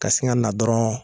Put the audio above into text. Ka sin ŋana dɔrɔn